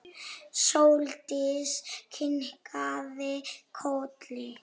Sóldís kinkaði kolli.